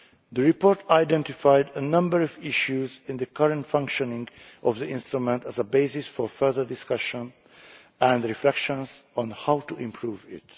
The report identified a number of issues in the current functioning of the instrument as a basis for further discussion and reflection on how to improve